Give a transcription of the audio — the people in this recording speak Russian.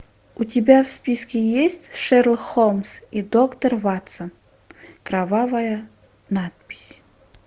у тебя в списке есть шерлок холмс и доктор ватсон кровавая надпись